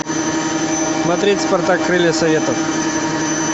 смотреть спартак крылья советов